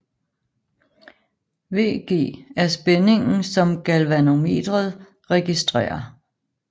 VG er spændingen som galvanometret registrerer